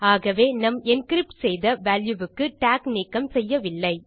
ஆகவே நம் என்கிரிப்ட் செய்த வால்யூ க்கு டாக் நீக்கம் செய்யவில்லை